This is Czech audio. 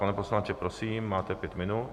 Pane poslanče, prosím, máte pět minut.